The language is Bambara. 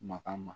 Makan ma